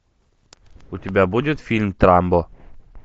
у тебя будет фильм трамбо